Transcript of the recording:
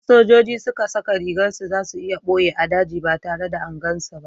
in sojoji suka saka rigar su, za su iya boye a daji ba tare da angan su na